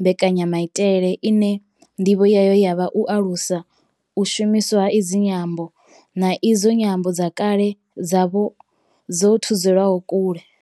mbekanyamaitele ine ndivho yayo ya vha u alusa u shumiswa ha idzi nyambo, na idzo nyambo dze kale dza vha dzo thudzelwa kule.